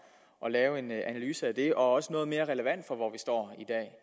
at lave en analyse af det og også noget mere relevant for hvor vi står